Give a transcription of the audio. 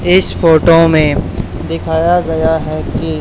इस फोटो में दिखाया गया है कि--